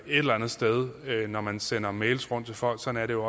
eller andet sted når man sender mails rundt til folk sådan er det